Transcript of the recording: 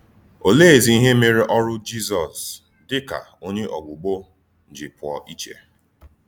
Olèézì íhè mèrè Ọ́rụ́ Jízọs dị ka Ònyé Ọ̀gbùgbò jì pụ̀ọ̀ ìchè?